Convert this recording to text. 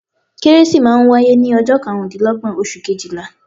Kérésì máa n wáyé ní ojọ́ karùndínlógbọ̀n oṣù kejìlá